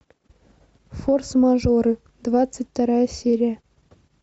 форс мажоры двадцать вторая серия